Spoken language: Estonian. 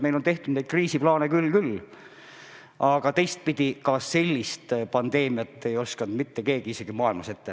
Meil on tehtud neid kriisiplaane küll ja küll, aga teistpidi, ega sellist pandeemiat ei osanud mitte keegi kusagil maailmas ette näha.